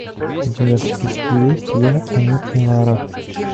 у тебя в списке есть я они и лара